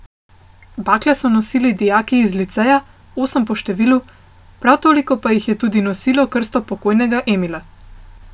Bakle so nosili dijaki iz liceja, osem po številu, prav toliko pa jih je tudi nosilo krsto pokojnega Emila.